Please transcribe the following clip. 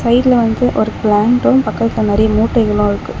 சைடுல வந்து ஒரு பிளான்ட்டும் பக்கத்துல நறைய மூட்டைகளும் இருக்கு.